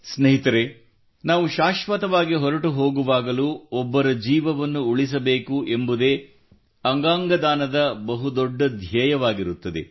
ಸ್ನೇಹಿತರೆ ನಾವು ಶಾಶ್ವತವಾಗಿ ಹೊರಟು ಹೋಗುವಾಗಲೂ ಒಬ್ಬರ ಜೀವವನ್ನು ಉಳಿಸಬೇಕು ಎಂಬುದೇ ಅಂಗಾಂಗ ದಾನದ ಬಹುದೊಡ್ಡ ಧ್ಯೇಯವಾಗಿರುತ್ತದೆ